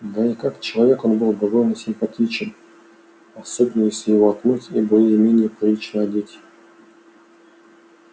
да и как человек он был довольно симпатичен особенно если его отмыть и более-менее прилично одеть